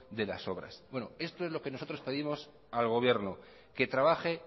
de las obras esto es lo que nosotros pedimos al gobierno que trabaje